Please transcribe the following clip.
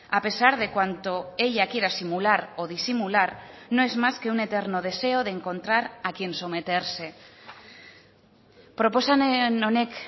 a pesar de cuanto ella quiera simular o disimular no es más que un eterno deseo de encontrar a quien someterse proposamen honek